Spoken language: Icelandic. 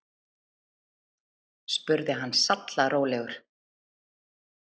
spurði hann sallarólegur.